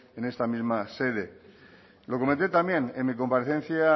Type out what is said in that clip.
en esta misma sede lo comenté también en mi comparecencia